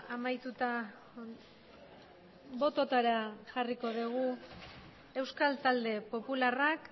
amaituta bototara jarriko dugu euskal talde popularrak